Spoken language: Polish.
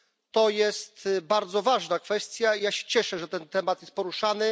To jest bardzo ważna kwestia, ja się cieszę, że ten temat jest poruszany.